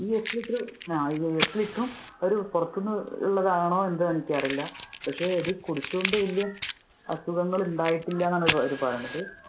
ഈ എട്ടു ലിറ്ററും ഒരു പുറത്തു നിന്നുള്ളത് ആണായി എന്തോ എനിക്ക് അറിയില്ല. പക്ഷെ ഇത് കുടിച്ചോണ്ട് വലിയ അസുഖങ്ങൾ ഇല്ല ഉണ്ടായിട്ടില്ല എന്നാണ് അവര് പറയുന്നത്.